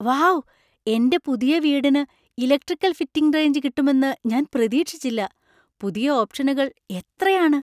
Wow, എന്‍റെ പുതിയ വീടിന് ഇലക്‌ട്രിക്കൽ ഫിറ്റിംഗ് റേഞ്ച് കിട്ടുമെന്ന് ഞാൻ പ്രതീക്ഷിച്ചില്ല പുതിയ ഓപ്‌ഷനുകൾ എത്രയാണ്!